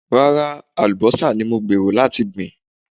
Rárá, àlùbọ́sà ni mò ń gbèrò láti gbìn.